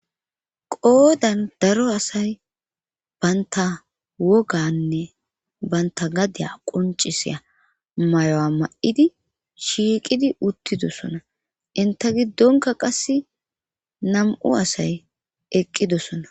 Qoodan daro asay baynta woganne banta gadiya qoncisiya mayo7a ma7idi shiiqidi uttidosona inta giddonka qasse nam7u asay eqqidosona.